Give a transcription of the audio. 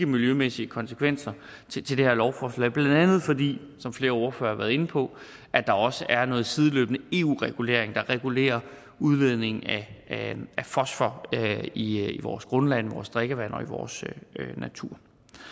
miljømæssige konsekvenser til det her lovforslag blandt andet fordi som flere ordførere har været inde på at der også er noget sideløbende eu regulering der regulerer udledning af fosfor i vores grundvand i vores drikkevand og i vores natur